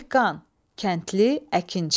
Dehqan, kəndli, əkinçi.